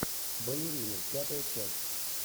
балерина пятая часть